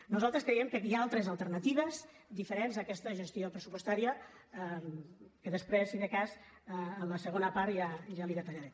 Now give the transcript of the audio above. nosaltres creiem que aquí hi ha altres alternatives diferents a aquesta gestió pressupostària que després si de cas a la segona part ja li detallaré